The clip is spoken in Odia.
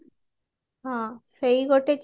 ହଁ ସେଇ ଗୋଟେ